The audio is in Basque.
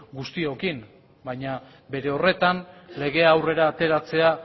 guztiokin baina bere horretan legea aurrera ateratzea